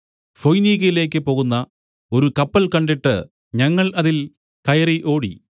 ഫൊയ്നിക്ക്യയിലേക്ക് പോകുന്ന ഒരു കപ്പൽ കണ്ടിട്ട് ഞങ്ങൾ അതിൽ കയറി ഓടി